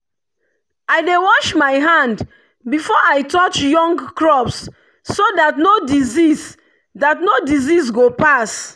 i dey wash my hand before i touch young crops so that no disease that no disease go pass.